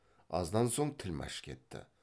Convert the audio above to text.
аздан соң тілмәш кетті